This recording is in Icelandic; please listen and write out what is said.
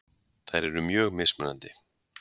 Þær eru mjög mismunandi.